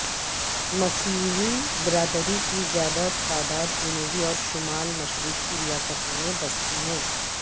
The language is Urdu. مسیحی برادری کی زیادہ تعداد جنوبی اور شمال مشرقی ریاستوں میں بستی ہے